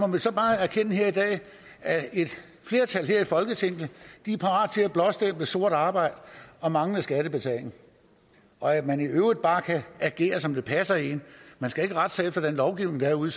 må så bare erkende her i dag at et flertal her i folketinget er parat til at blåstemple sort arbejde og manglende skattebetaling og at man i øvrigt bare kan agere som det passer en man skal ikke rette sig efter den lovgivning der er ude